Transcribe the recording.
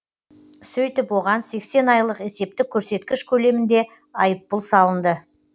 сөйтіп оған сексен айлық есептік көрсеткіш көлемінде айыппұл салынды